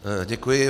Děkuji.